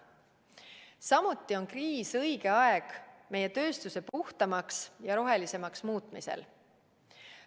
Samuti on kriis õige aeg meie tööstuse puhtamaks ja rohelisemaks muutmisel.